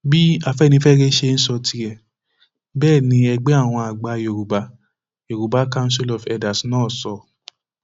bí afẹnifẹre ṣe ń sọ tirẹ bẹẹ ni ẹgbẹ àwọn àgbà yorùbá yorùbá council of elders náà sọ